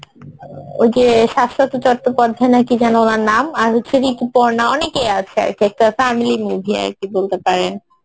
ওই যে শাশ্বত চট্টোপাধ্যায় নাকি যেনো ওনার নাম আর হচ্ছে ঋতুপর্ণা অনেকেই আছে আরকি একটা family movie আরকি বলতে পারেন